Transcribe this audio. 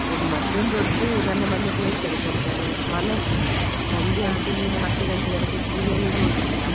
ಒಂದು ಮಧ್ಯಾಹ್ನದ್ ಹೊತ್ತು ನನ್ನ ಮನೆಯವರು ಹೇಳ್ತಾರೆ ಸ್ವಲ್ಪ ಹೊತ್ತು ಮಲಗು ಸಂಜೆ ಅಂತೂ ನೀನು ಹತ್ತು ಗಂಟೆ ತನಕ serial ಎ ನೋಡ್ತಿಯ